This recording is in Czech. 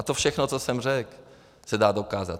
A to všechno, co jsem řekl, se dá dokázat.